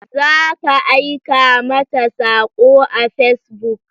Za ka aika mata sako a Facebook.